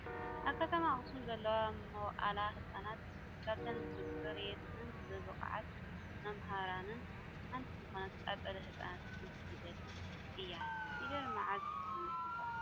ካብ ከተማ ኣክሱም ዘለዋ መዋእለ ህፃናት ካብተን ብፅሬተንን ብብቅዓት መማህራነንን ሓንቲ ዝኮነት ኣፀደ ህፃናት ሓንቲ ፊደል እያ ። ፊደል መዓዝ ተመስሪታ?